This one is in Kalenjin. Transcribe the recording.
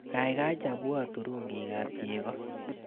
Kaikai chabwa turungikap cheko.